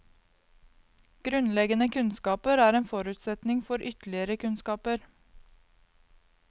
Grunnleggende kunnskaper er en forutsetning for ytterligere kunnskaper.